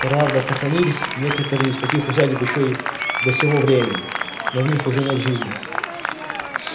правда сохранились некоторые из таких усадеб ещё и до сего времени но в них уже нет жизни